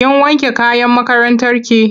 Kin wanke kayan makarantarki?